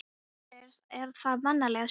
Á þínum aldri er það vanalega sinin.